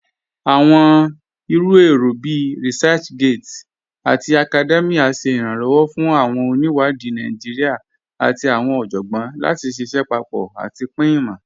Awọn iru èrò bíí ResearchGate àti Academia ṣè iranlọwọ́ fún awọn oníwádì Naijíríà àti awọn ọjọ́gbọn láti ṣíṣẹ̀ papọ̀ àti pin imọ.